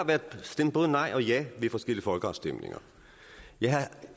stemt både nej og ja ved forskellige folkeafstemninger jeg